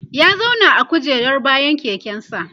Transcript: ya zauna a kujerar bayan keken sa